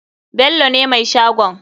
Bello ne mai shagon.